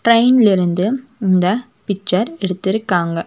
ட்ரெயின்ல இருந்து இந்த பிச்சர் எடுத்துருக்காங்க.